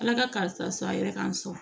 Ala ka karisa a yɛrɛ k'an sɔn